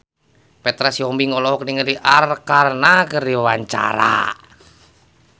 Petra Sihombing olohok ningali Arkarna keur diwawancara